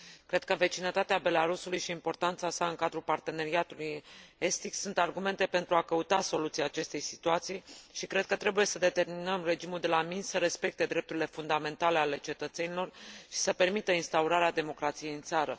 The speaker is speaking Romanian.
Cred că vecinătatea Belarusului și importanța sa în cadrul parteneriatului estic sunt argumente pentru a căuta soluția acestei situații și cred că trebuie să determinăm regimul de la Minsk să respecte drepturile fundamentale ale cetățenilor și să permită instaurarea democrației în țară.